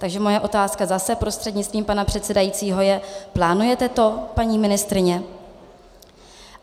Takže moje otázka zase prostřednictvím pana předsedajícího je: Plánujete to, paní ministryně?